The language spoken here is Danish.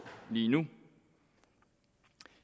lige nu